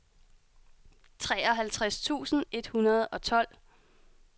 treoghalvtreds tusind et hundrede og tolv